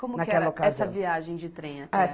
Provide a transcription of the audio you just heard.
Como que era, naquela ocasião, essa viagem de trem até